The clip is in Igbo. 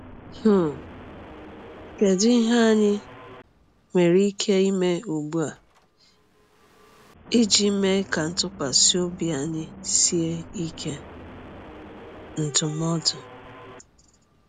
um Kedu ihe anyị nwere ike ime ugbu a iji mee ka ntụkwasị obi anyị sie ike? NDỤMỌDỤ